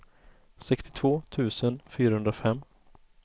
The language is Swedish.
sextiotvå tusen fyrahundrafem